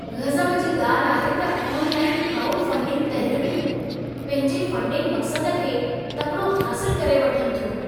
गज़ब जी ॻाल्हि आहे त ऑनलाइन क्राउडफंडिंग तहरीक़ूं, पंहिंजे फंडिंग मक़्सद खे तकिड़ो हासिल करे वठनि थियूं।